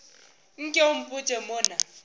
nke o mpotše mo na